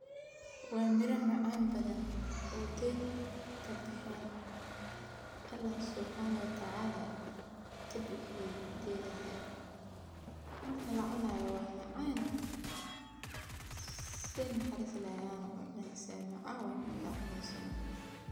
Waa mira macaan badan oo geed kabaxeen oo ilaheey geedaha kabixiye waa macaan markaad cuneyso.